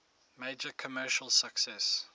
major commercial success